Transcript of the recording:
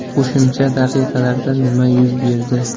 Qo‘shimcha daqiqalarda nima yuz berdi?